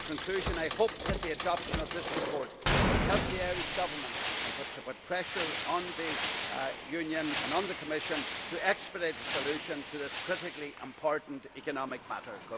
In conclusion, I hope that the adoption of this report will help the Irish government to put pressure on the Union and on the Commission to expedite a solution to this critically important economic matter.